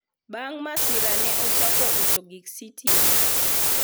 bang masira ne ochako uso gik sitima